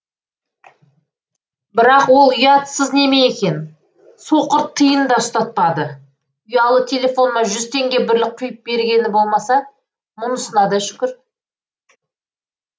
бірақ ол ұятсыз неме екен соқыр тиын да ұстатпады ұялы телефоныма жүз теңгеге бірлік құйып бергені болмаса мұнысына да шүкір